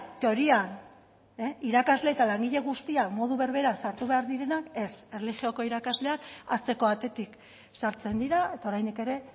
teorian irakasle eta langile guztiak modu berberean sartu behar direnak ez erlijio irakasleak atzeko atetik sartzen dira eta oraindik ere